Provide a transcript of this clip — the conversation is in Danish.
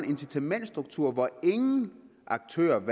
incitamentsstruktur hvor aktørerne